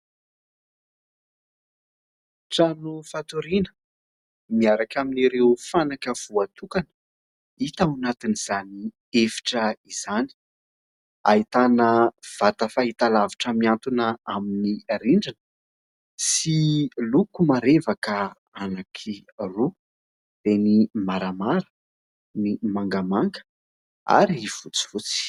Trano fatoriana, miaraka amin'ireo fanaka voatokana hita ao anatiny izany efitra izany. Ahitana vata fahitalavitra mihantona amin'ny rindrina sy loko marevaka anankiroa dia ny maramara ny mangamanga ary fotsifotsy.